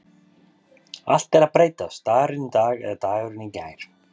Allt er að breytast Dagurinn í dag eða dagurinn í gær?